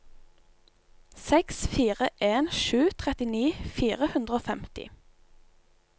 seks fire en sju trettini fire hundre og femti